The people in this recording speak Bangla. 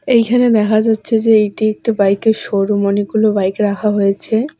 এইখানে দেখা যাচ্ছে যে এইটি একটা বাইক -এর শোরুম অনেকগুলো বাইক রাখা হয়েছে।